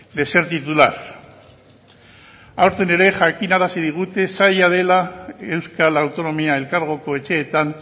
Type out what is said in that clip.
de ser titular aurten ere jakinarazi digute zaila dela euskal autonomia elkargoko etxeetan